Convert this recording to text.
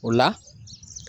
O la